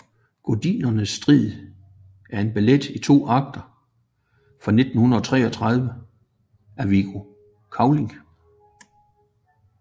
Gudindernes Strid er en ballet i to akter fra 1933 af Viggo Cavling